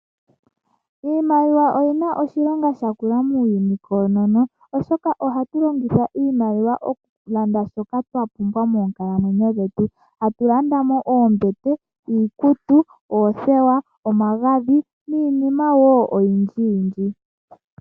Iimaliwa oyina oshilonga oshinene muuyuni koonono oshoka ohatu longitha iimaliwa okulanda shoka twapumbwa moonkalamwenyo dhetu. Tatu landa mo oombete, iikutu, oothewa, omagadhi niinima wo oyindji yindji.